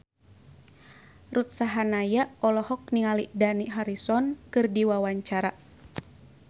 Ruth Sahanaya olohok ningali Dani Harrison keur diwawancara